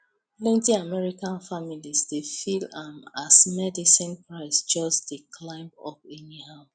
plenty american families dey feel am as medicine price just dey climb up anyhow